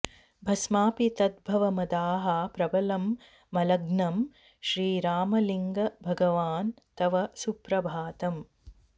भस्मापि तद्भवमदाः प्रबलं मलघ्नं श्रीरामलिङ्ग भगवन् तव सुप्रभातम्